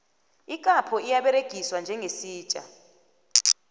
ikapho iyaberegiswa njengesitja